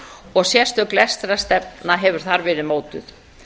og sérstök lestrarstefna hefur afar verið mótuð